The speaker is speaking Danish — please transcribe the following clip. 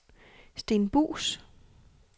Sten Buus